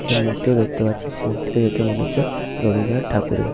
একটা মূর্তি ও দেখতে পাচ্ছি। মূর্তি টা দেখে মনে হচ্ছে রবীন্দ্রনাথ ঠাকুরের।